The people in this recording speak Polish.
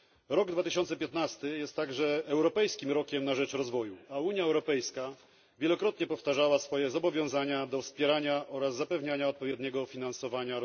Rok 2015 jest także Europejskim Rokiem na rzecz Rozwoju, a Unia Europejska wielokrotnie powtarzała swoje zobowiązania do wspierania rozwoju oraz zapewniania jego odpowiedniego finansowania.